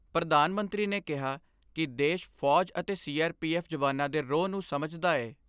ਪ੍ਰਧਾਨ ਮੰਤਰੀ ਨੇ ਕਿਹਾ ਕਿ ਦੇਸ਼ ਫੌਜ ਅਤੇ ਸੀ ਆਰ ਪੀ ਐਫ ਜਵਾਨਾਂ ਦੇ ਰੋਹ ਨੂੰ ਸਮਝਦਾ ਏ।